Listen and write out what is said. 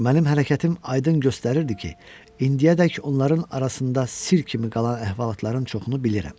Mənim hərəkətim aydın göstərirdi ki, indiyədək onların arasında sirr kimi qalan əhvalatların çoxunu bilirəm.